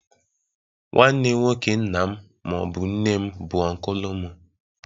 Nwanne nwoke nna m ma ọ bụ nne m bụ Ọnkụlụ m.